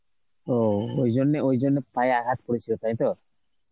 ও ওই জন্যে ওই জন্যে পায়ে আঘাত পরেছিল তাই তো?